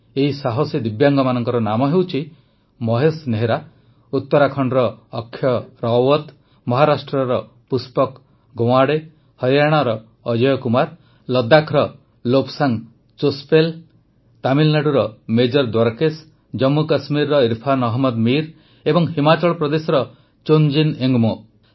ଏହି ସାହସୀ ଦିବ୍ୟାଙ୍ଗମାନଙ୍କ ନାମ ହେଉଛି ମହେଶ ନେହେରା ଉତ୍ତରାଖଣ୍ଡର ଅକ୍ଷତ ରାୱତ ମହାରାଷ୍ଟ୍ରର ପୁଷ୍ପକ ଗୱାଁଡେ ହରିୟାଣାର ଅଜୟ କୁମାର ଲଦ୍ଦାଖର ଲୋବ୍ସାଙ୍ଗ୍ ଚୋସ୍ପେଲ୍ ତାମିଲନାଡୁର ମେଜର ଦ୍ୱାରକେଶ ଜମ୍ମୁ କଶ୍ମୀରର ଇରଫାନ ଅହମଦ ମୀର ଏବଂ ହିମାଚଳ ପ୍ରଦେଶର ଚୋନ୍ଜିନ ଏଙ୍ଗମୋ